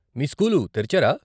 మీ school తెరిచారా?